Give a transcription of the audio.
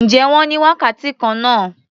Ǹjẹ́ wọ́n ní wákàtí kan náà?